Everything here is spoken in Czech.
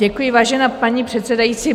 Děkuji, vážená paní předsedající.